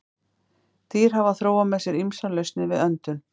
Dýr hafa þróað með sér ýmsar lausnir við öndun.